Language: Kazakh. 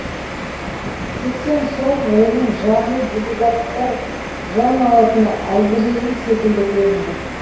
сексен сом оның жаны делегаттар жан алатын әзірейіл секілді көрінді